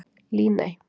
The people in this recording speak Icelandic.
Líney